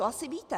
To asi víte.